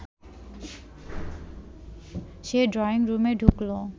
সে drawing রুমে ঢুকল